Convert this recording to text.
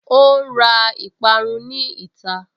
Ó ǹ ra ìparun ní ìta